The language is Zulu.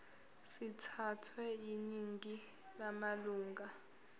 sithathwe yiningi lamalunga